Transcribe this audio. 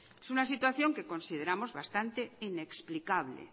es una situación que consideramos bastante inexplicable